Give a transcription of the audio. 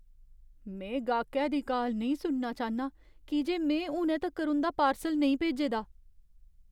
में गाह्‌कै दी काल नेईं सुनना चाह्न्नां की जे में हुनै तक्कर उं'दा पार्सल नेईं भेजे दा ।